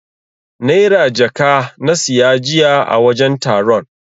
Naira jaka na siya jiya a wajen taron.